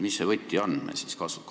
Mis see võti meil siis on?